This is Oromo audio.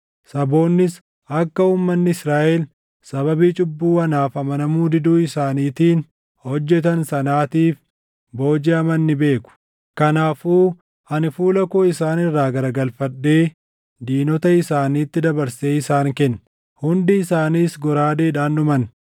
Saboonnis akka uummanni Israaʼel sababii cubbuu anaaf amanamuu diduu isaaniitiin hojjetan sanaatiif boojiʼaman ni beeku. Kanaafuu ani fuula koo isaan irraa garagalfadhee diinota isaaniitti dabarsee isaan kenne; hundi isaanis goraadeedhaan dhuman.